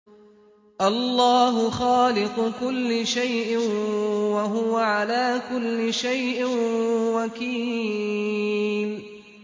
اللَّهُ خَالِقُ كُلِّ شَيْءٍ ۖ وَهُوَ عَلَىٰ كُلِّ شَيْءٍ وَكِيلٌ